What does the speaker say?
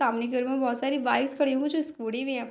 सामने घर में बहुत सारी बाइक्स खड़ी है वो जो स्कूटी भी है।